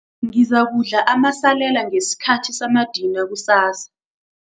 Ngizakudla amasalela ngesikhathi samadina kusasa.